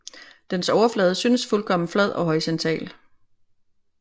Dens overflade syntes fuldkommen flad og horisontal